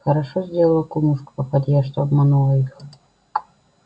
хорошо сделала кумушка-попадья что обманула их